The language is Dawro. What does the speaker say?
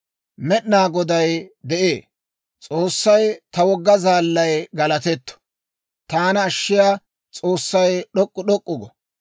Med'inaa Goday de'ee! S'oossay, ta wogga zaallay galatetto! Taana ashshiyaa S'oossay d'ok'k'u d'ok'k'u go!